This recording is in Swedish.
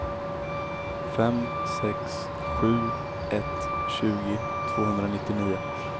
fem sex sju ett tjugo tvåhundranittionio